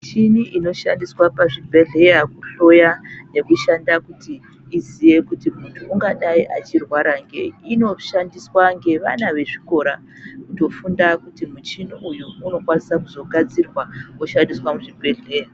Michini inoshanda pazvibhebhodhlera kuhloya nekushanda kuti iziye kuti muntu ungadai achirwara ngei inoshandiswa ngevana vezvikora kufunda kuti muchini uyu unokwanisa kuzogadzirwa woshabdiswa muzvibhedhlera.